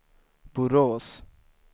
Borås